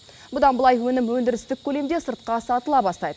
бұдан былай өнім өндірістік көлемде сыртқа сатыла бастайды